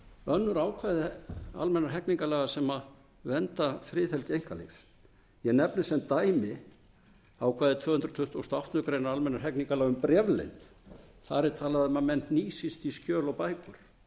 önnur ákvæði hegningarlaga sem vernda friðhelgi einkalífs ég nefni sem dæmi ákvæði tvö hundruð tuttugustu og áttundu grein almennra hegningarlaga um bréfleynd þar er talað um að menn hnýsist í skjöl og bækur